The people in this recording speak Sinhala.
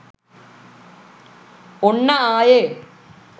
ඔන්න ආයෙ